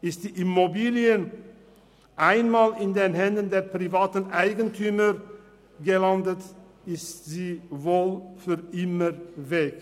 Ist die Immobilie einmal in den Händen der privaten Eigentümer gelandet, ist sie wohl für immer weg.